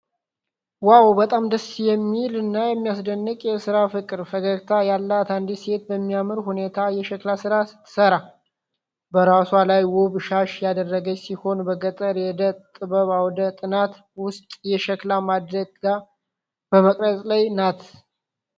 ዋው! በጣም ደስ የሚል እና የሚያስደንቅ የሥራ ፍቅር! ፈገግታ ያላት አንዲት ሴት በሚያምር ሁኔታ የሸክላ ሥራ ስትሠራ። በራሷ ላይ ውብ ሻሽ ያደረገች ሲሆን፣ በገጠር የእደ ጥበብ አውደ ጥናት ውስጥ የሸክላ ማድጋ በመቅረጽ ላይ ናት።